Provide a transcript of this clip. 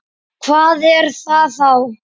Hvað er það þá?